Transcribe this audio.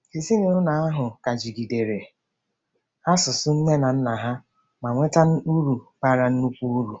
Ezinụlọ ahụ ka jidere asụsụ nne na nna ha ma nweta uru bara nnukwu uru.